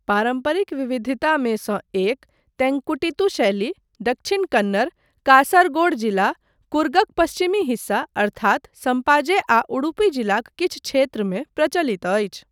पारम्परिक विविधतामे सँ एक, तेंकुटित्तु शैली, दक्षिण कन्नड़, कासरगोड जिला, कुर्गक पश्चिमी हिस्सा अर्थात संपाजे आ उडुपी जिलाक किछु क्षेत्रमे प्रचलित अछि।